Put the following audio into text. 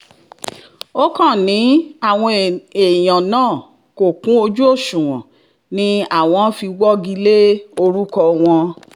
ó kàn ní àwọn èèyàn náà kò kún ojú òṣùwọ̀n ni àwọn fi wọ́gi lé orúkọ wọn